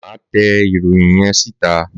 Màá tẹ ìròyìn yẹn sì tà!